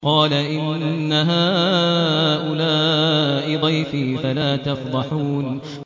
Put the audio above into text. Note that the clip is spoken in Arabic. قَالَ إِنَّ هَٰؤُلَاءِ ضَيْفِي فَلَا تَفْضَحُونِ